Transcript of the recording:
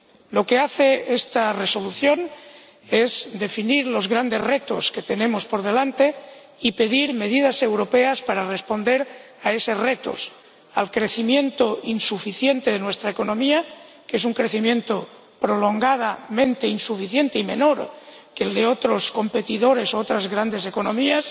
Lo que hace esta propuesta de Resolución es definir los grandes retos que tenemos por delante y pedir medidas europeas para responder a esos retos al crecimiento insuficiente de nuestra economía, que es un crecimiento prolongadamente insuficiente y menor que el de otros competidores u otras grandes economías